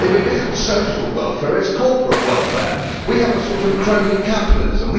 If it is not social welfare, it is corporate welfare. We have a sort of crony capitalism.